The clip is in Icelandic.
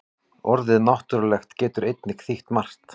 Orðið náttúrulegt getur einnig þýtt margt.